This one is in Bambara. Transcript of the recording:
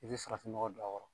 I be farafin nɔgɔ dɔ a kɔrɔ